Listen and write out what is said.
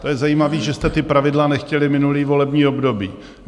To je zajímavé, že jste ta pravidla nechtěli minulé volební období.